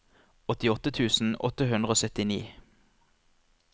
åttiåtte tusen åtte hundre og syttini